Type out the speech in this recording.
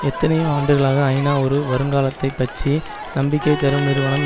எத்தனையோ ஆண்டுகளாக ஐநா ஒரு வருங்காலத்தைப் பற்றி நம்பிக்கை தரும் நிறுவனம்